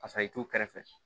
Pasa i t'u kɛrɛfɛ